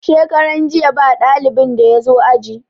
Shekaran jiya ba dalibin da ya zo aji.